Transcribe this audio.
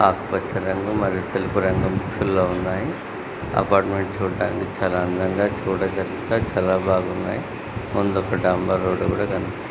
ఆకుపచ్చ రంగు మరియు తెలుపు రంగు మిక్సింగ్ గా ఉన్నాయి. అపార్ట్మెంట్ చూడడానికి చాలా అందంగా చూడచక్క చాలా బాగున్నాయి. ముందు ఒక డాంబర్ రోడ్ కనిపిస్--